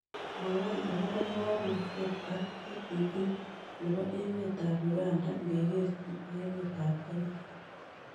Mwawon ago po mogornatet ak g.d.p ne po emetap uganda ngekerchin ak emetap kenya